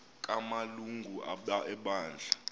kama lungu ebandla